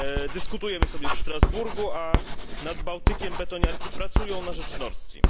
Dyskutujemy w Strasburgu, a nad Bałtykiem betoniarki pracują na rzecz Nordstream.